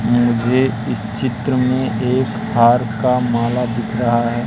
मुझे इस चित्र में एक हार का माल दिख रहा है।